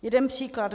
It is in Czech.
Jeden příklad.